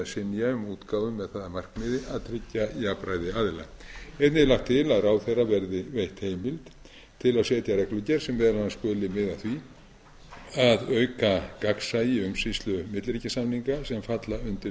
um útgáfu með það að markmiði að tryggja jafnræði aðila einnig er lagt til að ráðherra verði veitt heimild til að setja reglugerð sem meðal annars skuli miða að því að auka gagnsæi umsýslu milliríkjasamninga sem falla undir